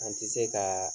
An ti se kaa